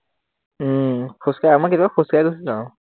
উম খোজকাঢ়ি, আমাৰ কেতিয়াবা খোজকাঢ়ি গুচি যাওঁ।